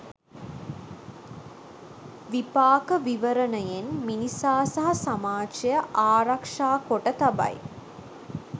විපාක විවරණයෙන් මිනිසා සහ සමාජය ආරක්‍ෂා කොට තබයි.